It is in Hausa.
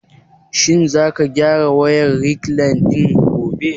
Shin za ka gyara wayar rekline ɗin gobe?